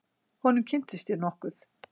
Honum kynntist ég nokkuð.